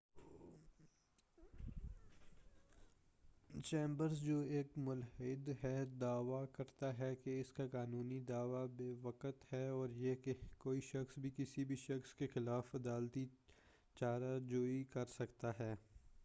chambers جو ایک مُلحد ہے دعویٰ کرتا ہے کہ اس کا قانونی دعویٰ بے وقعت ہے اور یہ کہ کوئی شخص بھی کسی بھی شخص کے خلاف عدالتی چارہ جوئی کر سکتا ہے